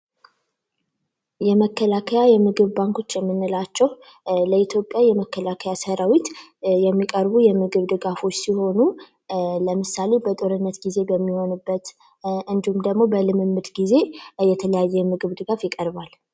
የመከላከያ የምግብ ባንኮች የምንላቸው ለመከላከያ በኢትዮጵያ ሰራዊት የሚቀርቡ የምግብ ድጋፎች ሲኖሩ ለምሳሌ በጦርነት ጊዜ በሚሆንበት ወቅት እንዲሁም ደግሞ በልምምድ ጊዜ የትኛውም የምግብ ድጋፍ ይቀርባል?